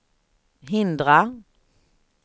hindra